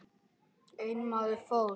Einn maður fórst.